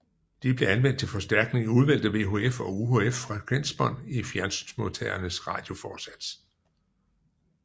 De blev anvendt til forstærkning i udvalgte VHF og UHF frekvensbånd i fjernsynsmodtagerens radioforsats